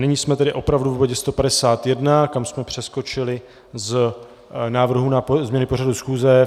Nyní jsme tedy opravdu v bodě 151, kam jsme přeskočili z návrhů na změny pořadu schůze.